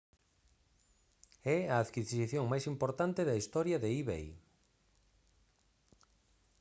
é a adquisición máis importante da historia de ebay